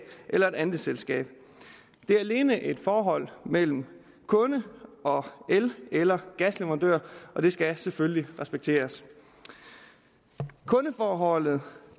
eller et andelsselskab det er alene et forhold mellem kunde og el eller gasleverandør det skal selvfølgelig respekteres kundeforholdet